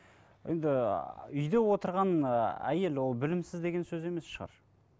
енді үйде отырған ыыы әйел ол білімсіз деген сөз емес шығар